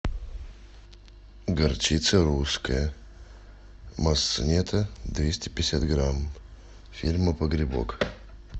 горчица русская масса нетто двести пятьдесят грамм фирма погребок